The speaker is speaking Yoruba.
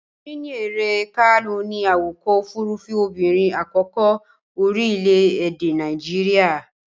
Chinyere Kalu ni awakọ-òfurufú obìnrin àkọ́kọ́ orílẹ̀-èdè Nàíjíríà.